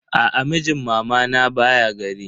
Aa, mijin mamana baya gari.